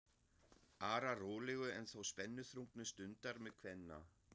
arar rólegu en þó spennuþrungnu stundar með kvenna